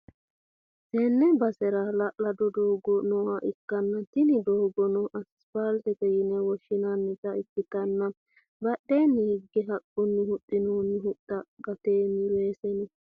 tenne basera hala'lado doogo nooha ikkanna, tini doogono asipaaltete yine woshshi'nannita ikkitanna, badheenni hige haqqunni huxxinoonni huxxinna gateenni weese no.